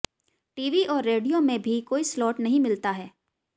TV और radio में भी कोई स्लॉट नहीं मिलता है